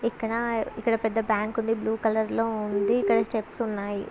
ఇక్కడ ఇక్కడ పెద్ద బ్యాంక్ ఉంది బ్లూ కలర్ లో ఉంది ఇక్కడ స్టెప్స్ ఉన్నాయి.